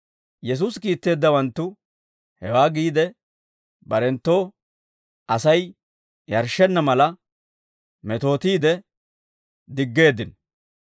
Yesuusi kiitteeddawanttu hewaa giide, barenttoo Asay yarshshenna mala, metootiide diggeeddino.